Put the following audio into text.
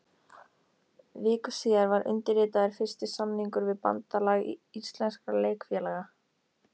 Viku síðar var undirritaður fyrsti samningur við Bandalag íslenskra leikfélaga.